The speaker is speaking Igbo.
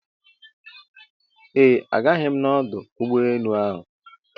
Eeh, agaghị m na ọdụ ụgbọ enu ahụ